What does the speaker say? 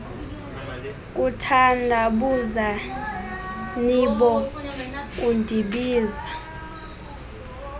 kuthandabuza nibo kundibiza